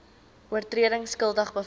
oortredings skuldig bevind